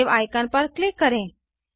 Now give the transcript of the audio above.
save icon पर click करें